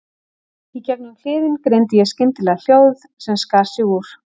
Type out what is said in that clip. Í gegnum kliðinn greindi ég skyndilega hljóð sem skar sig úr.